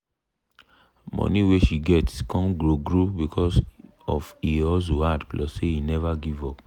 money wey she get come grow grow because of e hustle hard plus say e never give up